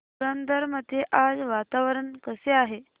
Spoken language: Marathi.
पुरंदर मध्ये आज वातावरण कसे आहे